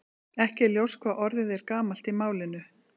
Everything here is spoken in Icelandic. Ekki er ljóst hvað orðið er gamalt í málinu.